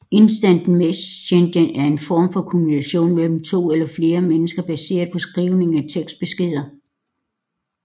Instant messaging er en form for kommunikation mellem to eller flere mennesker baseret på skrivning af tekstbeskeder